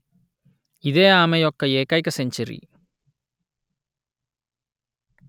ఇదే ఆమె యొక్క ఏకైక సెంచరీ